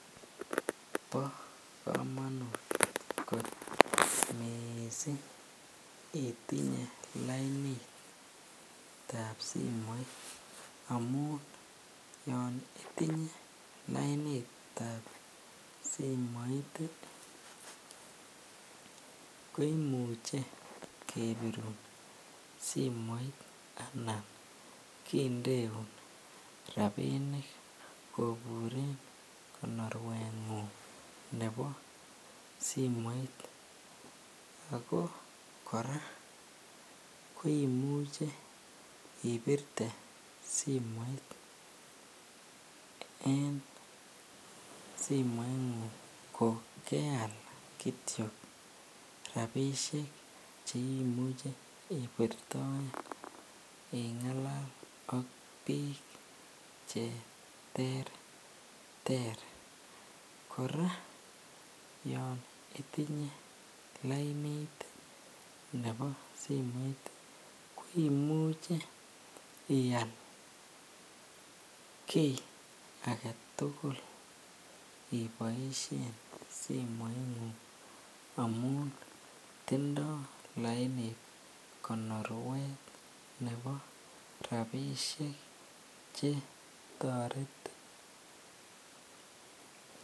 Bokomonut kot mising itinye lainitab simoit amun yoon itinye lainitab simoit ko imuche kebirun simoit anan kindeun rabinik koburen konorwengung nebo simoit ak ko kora ko imuche ibirte simoit en simoingung ko keal kitio rabishek cheimuche ibirtoen ingalal ak biik cheterter, kora yoon itinye lainit nebo simoit koimuche ial kii aketukul iboishen simoingung amun tindo lainit konorwet nebo rabishek che toretin.